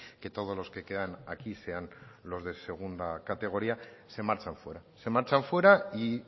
que todos los que quedan aquí sean los de segunda categoría se marchan fuera se marchan fuera y